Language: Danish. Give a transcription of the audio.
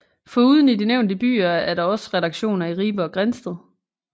Foruden i de nævnte byer er der også redaktioner i Ribe og Grindsted